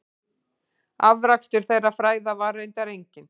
Afrakstur þeirra fræða var reyndar enginn.